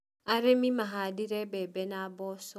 arĩmĩ mahandire bembe na mboco